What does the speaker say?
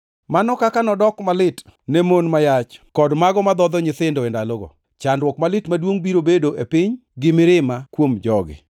Mano kaka nodok malit ne mon ma yach kod mago madhodho nyithindo e ndalogo! Chandruok malit maduongʼ biro bedo e piny gi mirima kuom jogi.